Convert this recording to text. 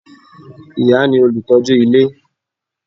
Ìyá ni olùtọ́jú ilé